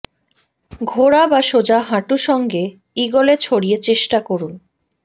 ঘোরা বা সোজা হাঁটু সঙ্গে ইগলে ছড়িয়ে চেষ্টা করুন